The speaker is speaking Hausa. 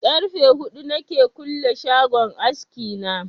Karfe huɗu na ke kulle shagon aski na